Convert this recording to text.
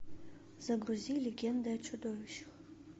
загрузи легенды о чудовищах